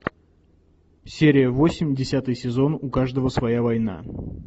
серия восемь десятый сезон у каждого своя война